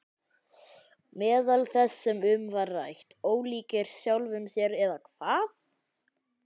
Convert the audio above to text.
Meðal þess sem um var rætt: Ólíkir sjálfum sér eða hvað?